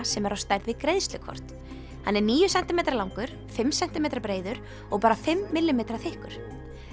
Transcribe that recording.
sem er á stærð við greiðslukort hann er níu sentímetra langur fimm sentímetra breiður og bara fimm millímetra þykkur